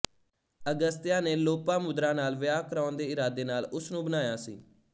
ਅਗਸਤਿਆ ਨੇ ਲੋਪਾਮੁਦ੍ਰਾ ਨਾਲ ਵਿਆਹ ਕਰਾਉਣ ਦੇ ਇਰਾਦੇ ਨਾਲ ਉਸ ਨੂੰ ਬਣਾਇਆ ਸੀ